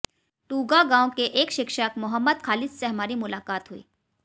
टूगा गांव के एक शिक्षक मोहम्मद खालिद से हमारी मुलाकात हुई